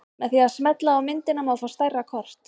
Með því að smella á myndina má fá stærra kort.